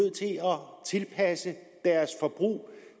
tilpasse deres forbrug